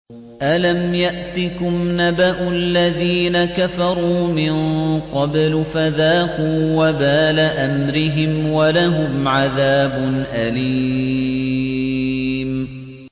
أَلَمْ يَأْتِكُمْ نَبَأُ الَّذِينَ كَفَرُوا مِن قَبْلُ فَذَاقُوا وَبَالَ أَمْرِهِمْ وَلَهُمْ عَذَابٌ أَلِيمٌ